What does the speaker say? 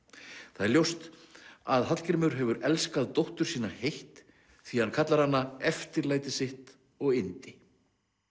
það er ljóst að Hallgrímur hefur elskað dóttur sína heitt því hann kallar hana eftirlæti sitt og yndi